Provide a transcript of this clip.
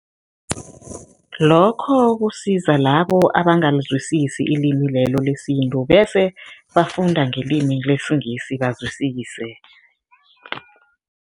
Lokho kusiza labo abangalizwisisi ilimi lelo lesintu bese, bafunda ngelimi lesingisi bazwisise.